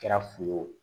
Kɛra fu ye o